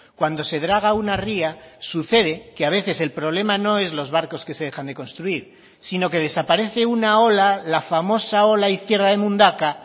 cuando se draga una ría sucede que a veces el problema no es los barcos que se dejan de construir sino que desaparece una ola la famosa ola izquierda de mundaka